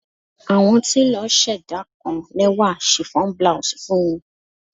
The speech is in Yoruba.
Awọn telo ṣẹda kan lẹwa chiffon blouse fun u